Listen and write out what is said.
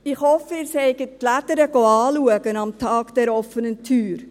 Ich hoffe, Sie sind die «Lädere» anschauen gegangen am Tag der offenen Tür.